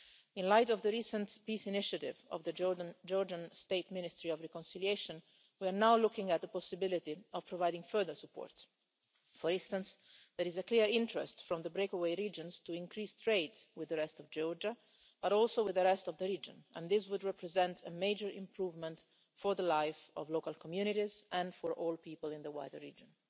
In light of the recent peace initiative of the Georgian State Ministry of Reconciliation, we are now looking at the possibility of providing further support. For instance, there is a clear interest from the breakaway regions to increase trade with the rest of Georgia, but also with the rest of the region, and this would represent a major improvement for the life of local communities, and for all people in the wider region.